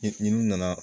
N'i nana